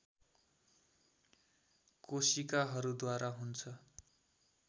कोशिकाहरू द्वारा हुन्छ।